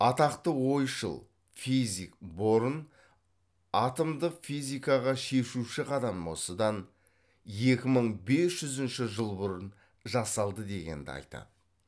атақты ойшыл физик борн атомдық физикаға шешуші қадам осыдан екі мың бес жүзінші жыл бұрын жасалды дегенді айтады